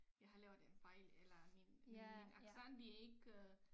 Jeg har lavet en fejl eller min min min accent det ikke øh